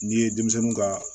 N'i ye denmisɛnninw ka